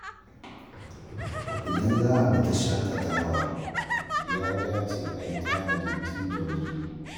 Idan za a fita shakatawa, ya dace a yi tanadi tun da wuri.